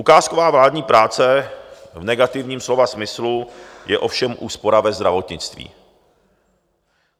Ukázková vládní práce v negativním slova smyslu je ovšem úspora ve zdravotnictví.